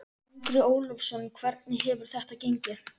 Andri Ólafsson: Hvernig hefur þetta gengið?